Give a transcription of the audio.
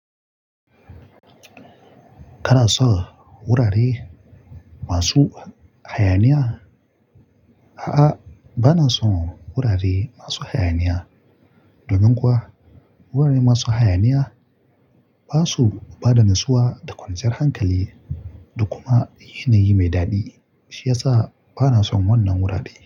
Kana son wurare masu hayaniya? A'a, ba na son wurare masu hayaniya. Domin kuwa wurare masu hayaniya ba su ba da nassuwa da kwanciyar hankali da kuma yanayi mai daɗi, shi yasa ba na son wannan wurare.